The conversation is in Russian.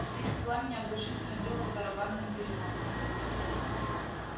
свист пламени оглушительно бил по барабанным перепонкам